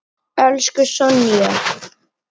Elsku Sonja.